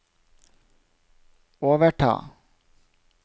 overta